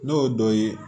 N'o dɔ ye